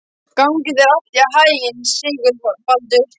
Gangi þér allt í haginn, Sigurbaldur.